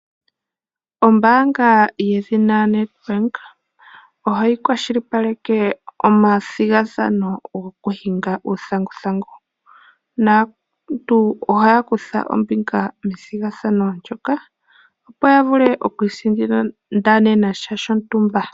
Ombaanga yedhina Nedbank ohayi kwashilipaleke omathigathano goku hinga uuthanguthangu. Aantu ohaya kutha ombinga methigathano ndyoka opo ya vule oku isindanena sha shontumba.